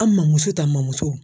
An mamuso ta mamuso